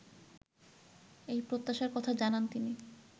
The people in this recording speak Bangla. এই প্রত্যাশার কথা জানান তিনি